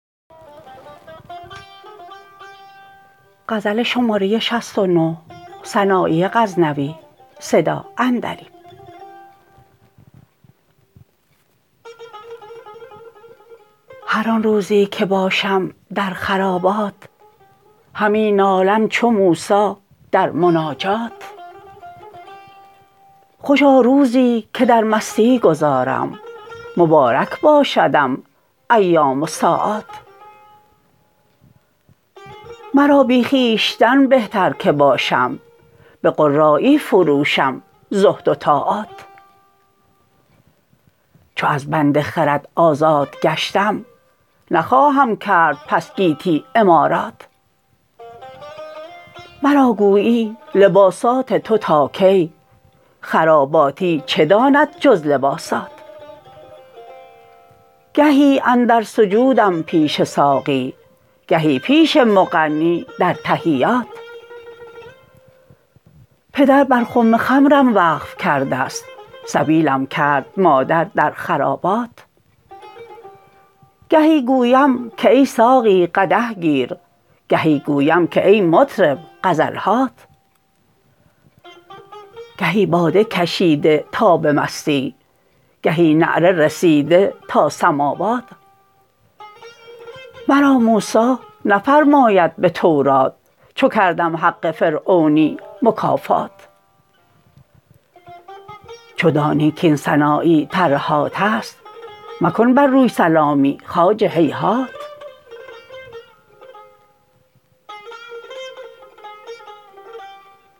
هر آن روزی که باشم در خرابات همی نالم چو موسی در مناجات خوشا روزی که در مستی گذارم مبارک باشدم ایام و ساعات مرا بی خویشتن بهتر که باشم به قرایی فروشم زهد و طاعات چو از بند خرد آزاد گشتم نخواهم کرد پس گیتی عمارات مرا گویی لباسات تو تا کی خراباتی چه داند جز لباسات گهی اندر سجودم پیش ساقی گهی پیش مغنی در تحیات پدر بر خم خمرم وقف کردست سبیلم کرد مادر در خرابات گهی گویم که ای ساقی قدح گیر گهی گویم که ای مطرب غزل هات گهی باده کشیده تا به مستی گهی نعره رسیده تا سماوات مرا موسی نفرماید به تورات چو کردم حق فرعونی مکافات چو دانی کاین سنایی ترهاتست مکن بر روی سلامی خواجه هیهات